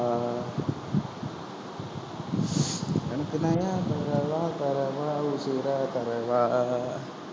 தரவா தரவா உசுரை தரவா.